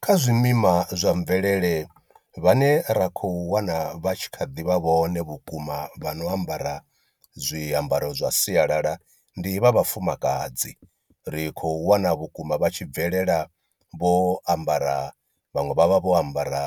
Kha zwimima zwa mvelele vhane ra khou wana vha tshi kha ḓi vha vhone vhukuma vhano ambara zwiambaro zwa sialala ndi vha vhafumakadzi, ri khou wana vhukuma vha tshi bvelela vho ambara vhaṅwe vha vha vho ambara